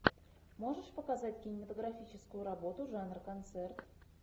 можешь показать кинематографическую работу жанр концерт